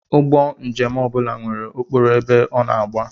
Ụgbọ njem ọ bụla nwere okporo ebe ọ na-agba